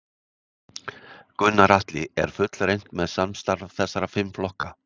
Gunnar Atli: Er fullreynt með samstarf þessara fimm flokka?